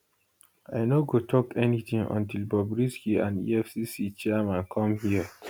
i no go tok anytin until bobrisky and effc chairman come here